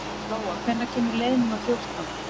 Lóa, hvenær kemur leið númer fjórtán?